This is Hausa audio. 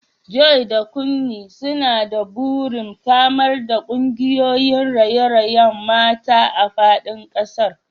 Joy da Kunmi suna da burin samar da kungiyoyin raye-rayen mata a fadin kasar.